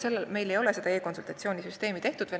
Meil ei ole aga neurokirurgidega veel e-konsultatsiooni süsteemi tehtud.